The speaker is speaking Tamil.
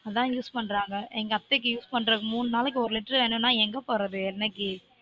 அதான் use பண்றாங்க எங்க அத்தைக்கு use பண்றதுக்கு மூனு நாளைக்கு ஒரு litre வேணுமுனா எங்க போறது எண்ணெய்க்கு